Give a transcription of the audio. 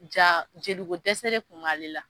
Ja jolikodɛsɛ de tun b'ale la